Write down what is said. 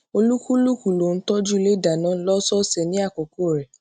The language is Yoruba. olúkúlùkù ló n tọjú ilé ìdáná lósòòsè ní àkókò rẹ